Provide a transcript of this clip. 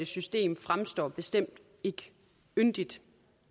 system fremstår bestemt ikke yndigt